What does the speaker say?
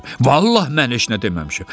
Vallahi mən heç nə deməmişəm.